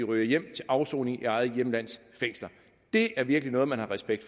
ryge hjem til afsoning i eget hjemlands fængsler det er virkelig noget man har respekt